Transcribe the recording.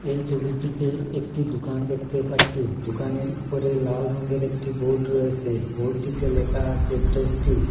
এই ছবিটিতে একটি দুকান দেখতে পাচ্ছি দুকানের উপরে লাল রঙের একটি বোর্ড রয়েসে বোর্ডটিতে লেখা আসে প্রেস্টিজ ।